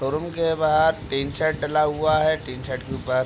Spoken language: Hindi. शो रूम के बहार टीन सेट डला हुआ है। टीन सेट के ऊपर --